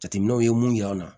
Jateminɛw ye mun yir'an na